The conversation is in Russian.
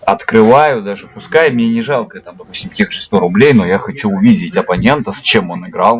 открываю даже пускай мне не жалко допустим тех же сто рублей но я хочу увидеть абонента с чем он играл